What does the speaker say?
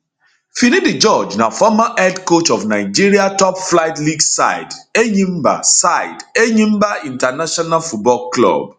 finidi george na former head coach of nigeria toplflight league side enyimba side enyimba international football club